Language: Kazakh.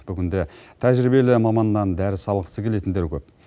бүгінде тәжірибелі маманнан дәріс алғысы келетіндер көп